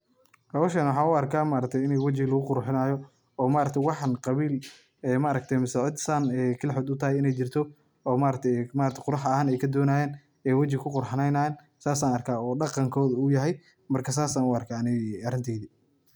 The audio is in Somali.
Hoshaan waxaan u arkaa ini o maaragta wajiga lagu qurxinaayo,o maaragta waxaan qabiil aay maaragta mise cid aay sidan gaar utahay qurux ahaan aay kadonayaan aay wajiga kuqurxaneen haayan oo daqankooda.